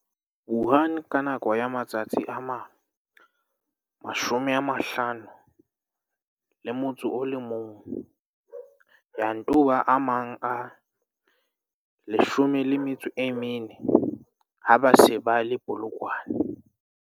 Wuhan ka nako ya matsatsi a 51, ya nto ba a mang a 14 ha ba se ba le Polokwane.